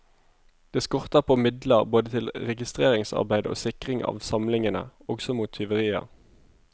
Det skorter på midler både til registreringsarbeid og sikring av samlingene, også mot tyverier.